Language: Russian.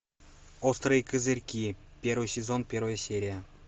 острые козырьки первый сезон первая серия